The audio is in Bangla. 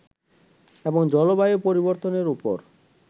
এবং জলবায়ু পরিবর্তনের ওপর